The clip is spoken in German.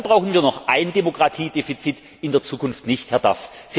Und dann brauchen wir noch ein Demokratiedefizit in der Zukunft nicht, Herr Duff.